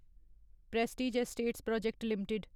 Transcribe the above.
Prestige estates project limited